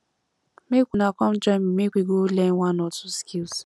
make una come join me make we go learn one or two skills